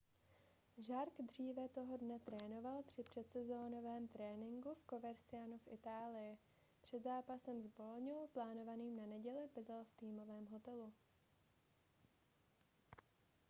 jarque dříve toho dne trénoval při předsezónovém tréninku v covercianu v itálii před zápasem s boloňou plánovaným na neděli bydlel v týmovém hotelu